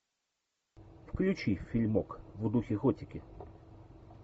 включи фильмок в духе готики